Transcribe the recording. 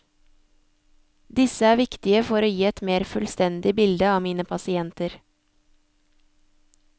Disse er viktige for å gi et mer fullstendig bilde av mine pasienter.